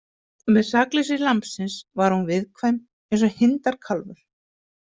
Með sakleysi lambsins var hún viðkvæm eins og hindarkálfur.